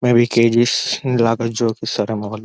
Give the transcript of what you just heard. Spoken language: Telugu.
మే బి కే_జి స్ లాగానే ఇస్తారేమో వాళ్ళు.